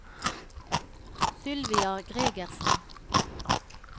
Sylvia Gregersen